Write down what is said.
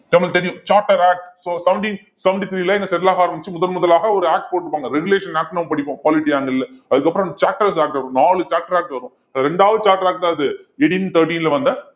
நம்மளுக்கு தெரியும் charter act so seventeen seventy three ல இந்த settle ஆக ஆரம்பிச்சு முதன்முதலாக ஒரு act போட்டிருப்பாங்க regulation act னு நாம படிப்போம் polity angle ல அதுக்கப்புறம் நாலு charter act வரும் இரண்டாவது charter act தான் அது eighteen thirteen ல வந்த